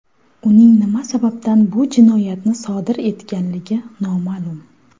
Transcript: Uning nima sababdan bu jinoyatni sodir etganligi noma’lum.